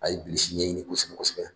A ye bilisi ɲɛɲini kosɛbɛ kosɛbɛ